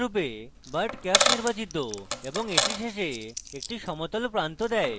ডিফল্টরূপে butt cap নির্বাচিত এবং edge শেষে একটি সমতলপ্রান্ত দেয়